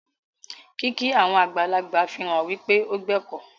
Kìkì àwọn àgbàlagbà fihàn wípe o gbẹ̀kọ́.